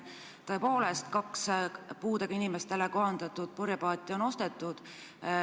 Tõepoolest, kaks puudega inimestele kohandatud purjepaati on ostetud.